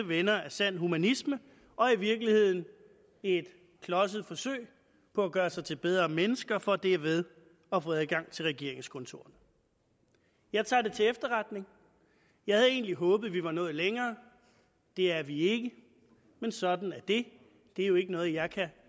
venner af sand humanisme og i virkeligheden i et klodset forsøg på at gøre sig til bedre mennesker for derved at få adgang til regeringskontorerne jeg tager det til efterretning jeg havde egentlig håbet at vi var nået længere det er vi ikke og sådan er det det er jo ikke noget jeg kan